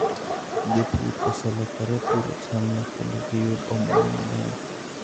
Jopur ose lokore puro chamno kendo giyudo omuom mang'eny.